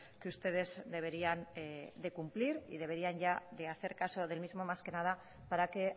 que ustedes deberían de cumplir y deberían ya de hacer caso del mismo más que nada para que